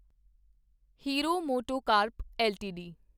hero MotoCorp LTD